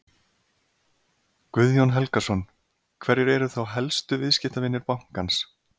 Guðjón Helgason: Hverjir eru þá helstu viðskiptavinir bankans?